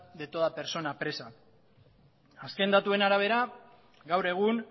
de toda persona presa azken datuen arabera gaur egun